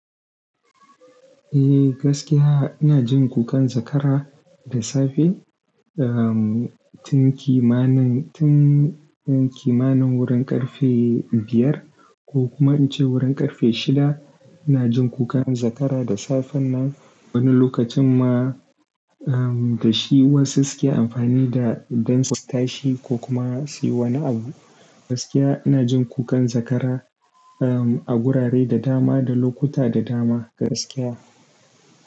Eh gaskiya ina jin kukan zakara da safe, um, tun kimanin, tun kimanin wurin ƙarfe biyar ko kuma in ce wurin ƙarfe shida ina jin kukan zakara da safen nan. Wani lokacin ma, um, da shi wasu suke amfani da don su tashi ko kuma su yi wani abu. Gaskiya ina jin kukan zakara, um, a gurare da dama, da lokuta da dama gaskiya.